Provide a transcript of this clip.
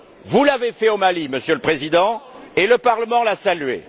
Vous l'avez fait au Mali, Monsieur le Président, et le Parlement l'a salué.